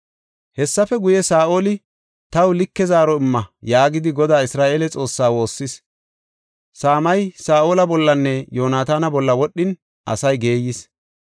Hessafe guye, Saa7oli, “Taw like zaaro imma” yaagidi Godaa Isra7eele Xoossaa woossis. Saamay Saa7ola bollanne Yoonataana bolla wodhin asay geeyis.